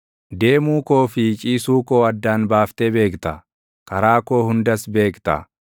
Deemuu koo fi ciisuu koo addaan baaftee beekta; karaa koo hundas beekta.